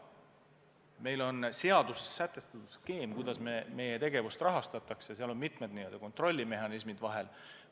Meil on seaduses sätestatud skeem, kuidas meie tegevust rahastatakse, seal on mitmed n-ö kontrollimehhanismid vahel.